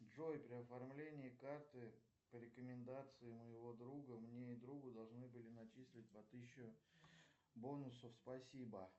джой при оформлении карты по рекомендации моего друга мне и другу должны были начислить по тысячи бонусов спасибо